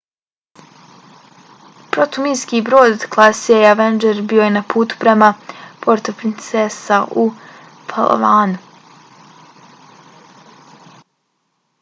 protuminski brod klase avenger bio je na putu prema puerto princesa u palawanu